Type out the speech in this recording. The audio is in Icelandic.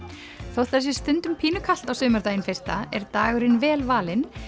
þótt það sé stundum pínu kalt á sumardaginn fyrsta er dagurinn vel valinn